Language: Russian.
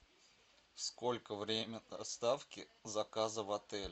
сколько время доставки заказа в отель